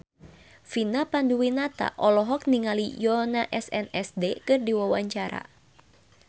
Vina Panduwinata olohok ningali Yoona SNSD keur diwawancara